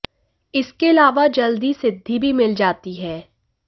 इसके अलावा जल्द ही सिद्धि भी मिल जाती है